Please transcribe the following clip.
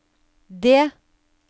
D